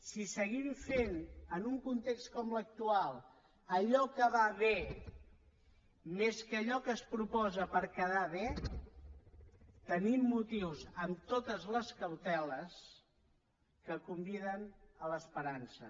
si seguim fent en un context com l’actual allò que va bé més que allò que es proposa per quedar bé tenim motius amb totes les cauteles que conviden a l’esperança